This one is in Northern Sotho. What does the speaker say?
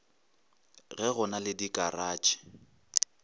ge go na le dikaratšhe